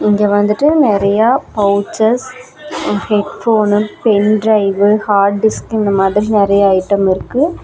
இங்க வந்துட்டு நெறையா pouches headphone pen drive hard disk இந்த மாரி நெறைய ஐட்டம் இருக்கு.